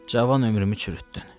Cavan ömrümü çürütdün.